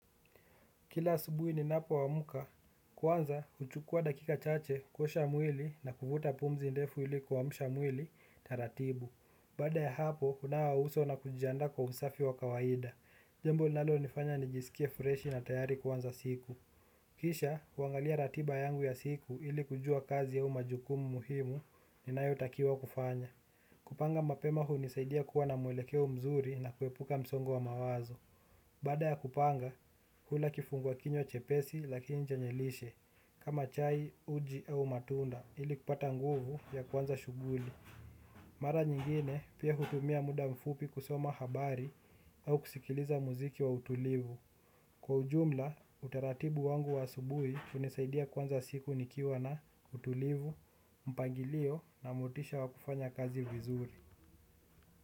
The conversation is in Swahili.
Kila asubuhi ninapo amka. Kwanza, huchukua dakika chache, kuosha mwili na kuvuta pumzi ndefu ili kuamsha mwili ratibu. Baada ya hapo, hunawa uso na kujiandaa kwa usafi wa kawaida. Jambo linalo nifanya nijisikie freshi na tayari kuanza siku. Kisha, huangalia ratiba yangu ya siku ili kujua kazi au majukumu muhimu, ninayo takiwa kufanya. Kupanga mapema hunisaidia kuwa na mwelekeo mzuri na kuepuka msongo wa mawazo. Baada ya kupanga, hula kifungua kinywa chepesi lakini chenye lishe kama chai, uji au matunda ili kupata nguvu ya kuanza shughuli. Mara nyingine pia hutumia muda mfupi kusoma habari au kusikiliza muziki wa utulivu. Kwa ujumla, utaratibu wangu wa asubuhi hunisaidia kuanza siku nikiwa na utulivu, mpangilio na motisha wa kufanya kazi vizuri.